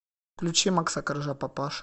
включи макса коржа папаша